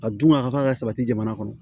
A dun a ka kan ka sabati jamana kɔnɔ